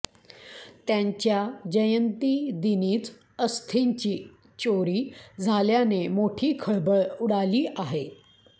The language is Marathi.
त्यांच्या जयंतीदिनीच अस्थींची चोरी झाल्याने मोठी खळबळ उडाली आहे